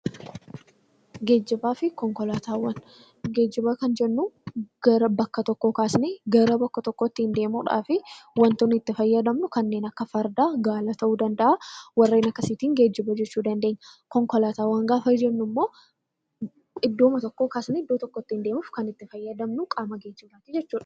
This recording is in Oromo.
Geejiba fi konkolaataawwan Geejiba kan jennuun gara bakka tokkoo kaasnee gara bakka tokkoo ittiin deemuuf, waanta nuti itti fayyadamnu kanneen akka gaangee, farda fi gaala ta'uu danda'a. Warreen akkasiitiin geejiba jechuu dandeenya. Konkolaataawwan gaafa jennu, iddoo tokkoo kaasnee gara iddoo tokkotti kan itti fayyadamnu jechuudha.